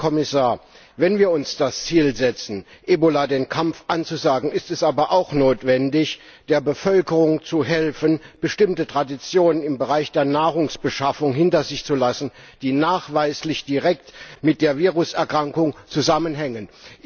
Herr Kommissar, wenn wir uns das Ziel setzen, Ebola den Kampf anzusagen, ist es aber auch notwendig, der Bevölkerung zu helfen, bestimmte Traditionen im Bereich der Nahrungsbeschaffung hinter sich zu lassen, die nachweislich direkt mit der Viruserkrankung zusammenhängen.